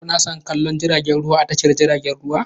Kuna son kallon jiragen ruwa a tashar jiragen ruwa?